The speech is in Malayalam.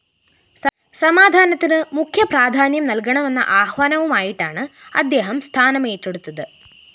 സമാധാനത്തിന് മുഖ്യ പ്രാധാന്യം നല്‍കണമെന്ന ആഹ്വാനവുമായിട്ടാണ് അദ്ദേഹം സ്ഥാനം ഏറ്റെടുത്തത്